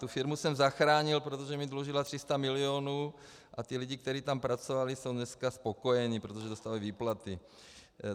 Tu firmu jsem zachránil, protože mi dlužila 300 milionů, a ti lidé, kteří tam pracovali, jsou dneska spokojeni, protože dostali výplaty.